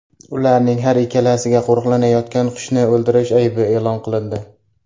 Ularning har ikkalasiga qo‘riqlanayotgan qushni o‘ldirish aybi e’lon qilindi.